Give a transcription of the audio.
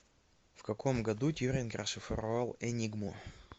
в каком году тьюринг расшифровал энигму